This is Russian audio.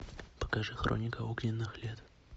покажи хроника огненных лет